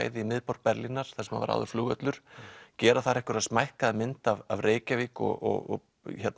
í miðborg Berlínar þar sem var áður flugvöllur gera þar einhverja smækkaða mynd af Reykjavík og